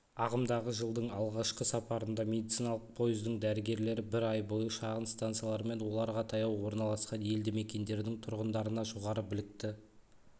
ағымдағы жылдың алғашқы сапарында медициналық пойыздың дәрігерлері бір ай бойы шағын станциялар мен оларға таяу орналасқан елді мекендердің тұрғындарына жоғары білікті